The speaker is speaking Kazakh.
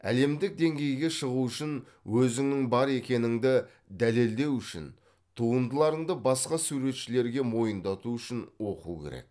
әлемдік деңгейге шығу үшін өзіңнің бар екеніңді дәлелдеу үшін туындыларыңды басқа суретшілерге мойындату үшін оқу керек